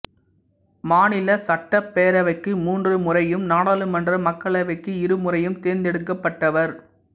மாநில சட்டப்பேரவைக்கு மூன்று முறையும் நாடாளுமன்ற மக்களவைக்கு இரு முறையும் தேர்ந்தெடுக்கப்பட்டவர்